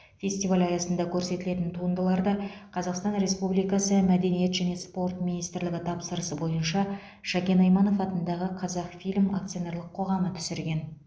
фестиваль аясында көрсетілетін туындыларды қазақстан республикасы мәдениет және спорт министрлігі тапсырысы бойынша шәкен айманов атындағы қазақфильм акционерлік қоғамы түсірген